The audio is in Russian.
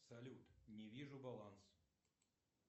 салют не вижу баланс